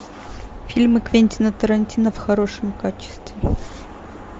фильмы квентина тарантино в хорошем качестве